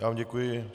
Já vám děkuji.